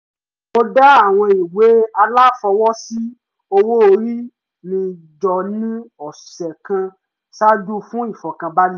mo dá àwọn ìwé aláfọwọ́sí owó orí mi jọ ní ọ̀sẹ̀ kan ṣáájú fún ìfọ̀kànbalẹ̀